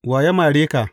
Wa ya mare ka?